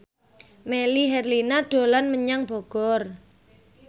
Melly Herlina dolan menyang Bogor